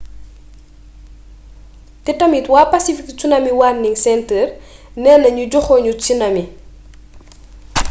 te tamit wa pacific tsunami warning center nena ñu joxoñu tsunami